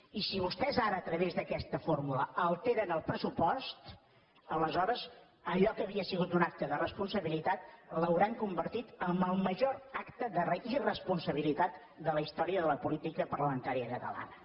i si vostès ara a través d’aquesta fórmula alteren el pressupost aleshores allò que havia sigut un acte de responsabilitat l’hauran convertit en el major acte d’irresponsabilitat de la història de la política parlamentària catalana